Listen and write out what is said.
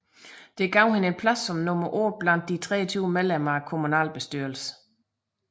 Dette gav hende en plads som nummer otte blandt de 23 medlemmer af kommunalbestyrelsen